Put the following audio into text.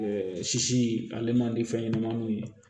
Ɛɛ sisi ale man di fɛn ɲɛnɛmaninw ye